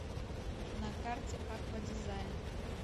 на карте аква дизайн